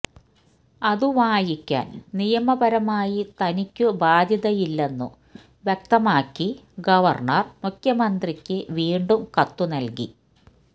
അത് വായിക്കാൻ നിയമപരമായി തനിക്കു ബാധ്യതയില്ലെന്നു വ്യക്തമാക്കി ഗവർണർ മുഖ്യമന്ത്രിക്ക് വീണ്ടും കത്തുനൽകി